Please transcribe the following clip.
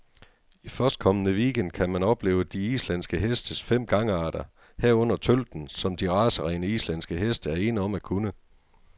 I førstkommende weekend gang kan man opleve de islandske hestes fem gangarter, herunder tølten, som de racerene, islandske heste er ene om at kunne.